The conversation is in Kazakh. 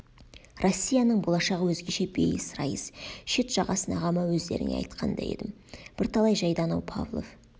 россияның болашағы өзгеше бейіс райыс шет жағасын ағама өздеріңе айтқан да едім бірталай жайды анау павлов